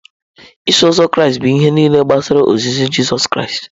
Iso Ụzọ Kraịst bụ ihe nile gbasara ozizi Jizọs Kraịst